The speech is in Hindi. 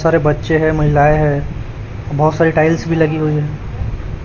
सारे बच्चे हैं महिलाएं हैं बहुत सारी टाइल्स भी लगी हुई हैं।